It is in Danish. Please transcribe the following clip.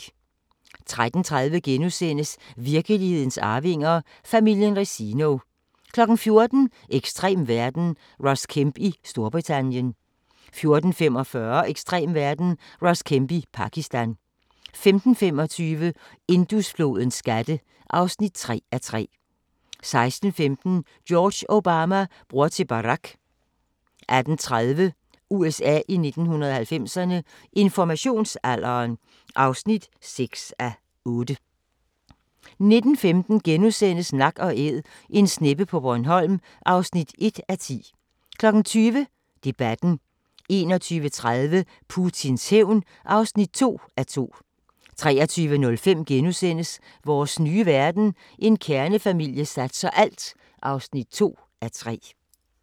13:30: Virkelighedens arvinger: Familien Resino * 14:00: Ekstrem verden – Ross Kemp i Storbritannien 14:45: Ekstrem verden – Ross Kemp i Pakistan 15:25: Indusflodens skatte (3:3) 16:15: George Obama – bror til Barack 18:30: USA i 1990'erne – Informationsalderen (6:8) 19:15: Nak & Æd – en sneppe på Bornholm (1:10)* 20:00: Debatten 21:30: Putins hævn (2:2) 23:05: Vores nye verden – En kernefamilie satser alt (2:3)*